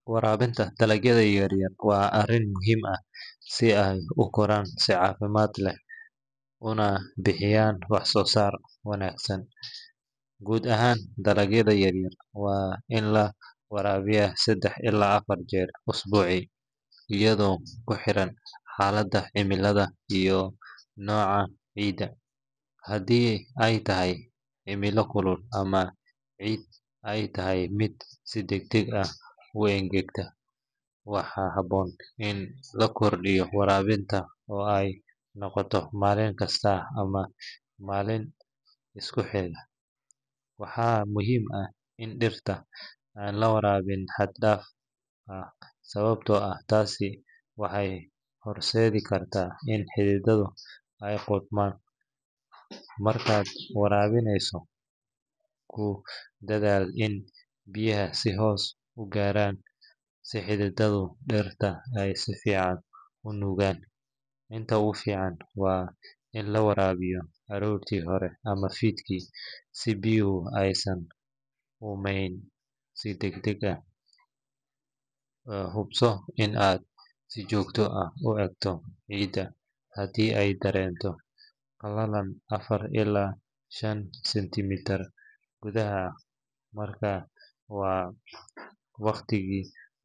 Waraabinta dalagyada yaryar waa arrin muhiim ah si ay u koraan si caafimaad leh una bixiyaan wax-soo-saar wanaagsan. Guud ahaan, dalagyada yaryar waa in la waraabiyaa saddex ilaa afar jeer usbuucii, iyadoo ku xiran xaaladda cimilada iyo nooca ciidda. Haddii ay tahay cimilo kulul ama ciidda ay tahay mid si degdeg ah u engegta, waxaa habboon in la kordhiyo waraabinta oo ay noqoto maalin kasta ama maalmo isku xiga. Waxaa muhiim ah in dhirta aan la waraabin xad-dhaaf ah sababtoo ah taasi waxay horseedi kartaa in xididdada ay qudhmaan. Markaad waraabinayso, ku dadaal in biyaha si hoose u gaaraan si xididdada dhirta ay si fiican u nuugaan. Inta ugu fiican waa in la waraabiyo aroortii hore ama fiidkii, si biyaha aysan u uumayn si degdeg ah. Hubso in aad si joogto ah u eegto ciidda, haddii ay dareento qalalan afar ilaa shan sentimitir gudaha, markaas waa waqtigii.